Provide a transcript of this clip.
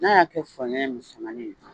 N'a y'a kɛ saɲɔn musɛmanin ye